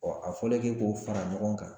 a fɔlen ke k'o fara ɲɔgɔn kan